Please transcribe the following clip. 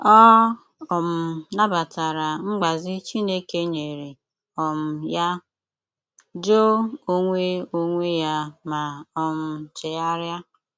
Ọ um nabatara mgbazi Chineke nyere um ya, jụ onwe onwe ya ma um chegharịa.